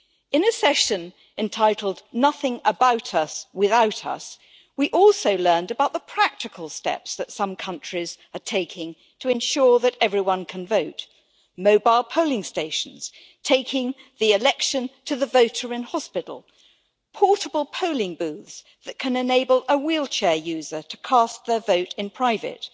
In this session entitled Nothing about us without us', we also learned about the practical steps that some countries are taking to ensure that everyone can vote mobile polling stations, taking the election to the voter in hospital, portable polling booths that can enable a wheelchair user to cast their vote in private.